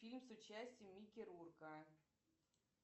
фильм с участием микки рурка